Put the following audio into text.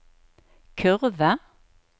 kurve